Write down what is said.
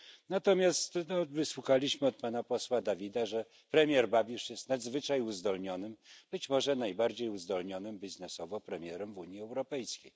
Natomiast wysłuchaliśmy od pana posła Davida, że premier Babisz jest nadzwyczaj uzdolnionym, być może najbardziej uzdolnionym biznesowo premierem w Unii Europejskiej.